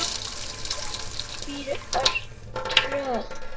Koma í veg fyrir örtröð.